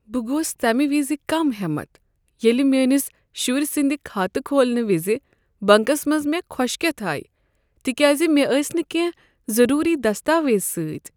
گوس تمہ وز كم ہٮ۪متھ ییٚلہ مِیٲنِس شُرۍ سٕنٛد کھاتہٕ کھولنہِ وِزِ بنکس منٛز مےٚ كھوشكیتھ آیہِ تکیاز مےٚ ٲسۍ نہٕ کٮ۪نٛہہ ضروٗری دستاویز سۭتۍ۔